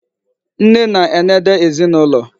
Nne na-enede ezinụlọ.